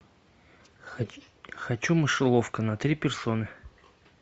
хочу мышеловка на три персоны